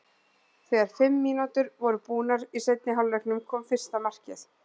Þegar fimm mínútur voru búnar í seinni hálfleiknum kom fyrsta markið.